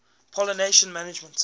pollination management